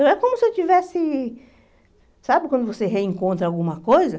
Então, é como se eu tivesse... Sabe quando você reencontra alguma coisa?